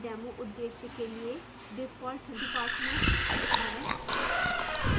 demo उद्देश्य के लिए default department it है